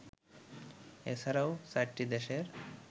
এছাড়াও চারটি দেশের